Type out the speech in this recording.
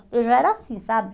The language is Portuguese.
Eu já era assim, sabe?